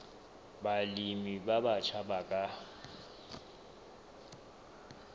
balemi ba batjha ba ka